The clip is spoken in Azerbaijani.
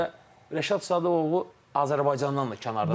Və Rəşad Sadıqovu Azərbaycandan da kənarda tanıyırlar.